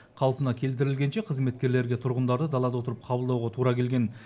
қалпына келтірілгенше қызметкерлерге тұрғындарды далада отырып қабылдауға тура келген